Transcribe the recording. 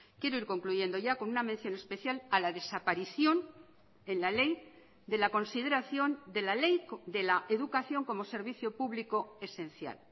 quiero ir concluyendo ya con una mención especial a la desaparición en la ley de la consideración de la ley de la educación como servicio público esencial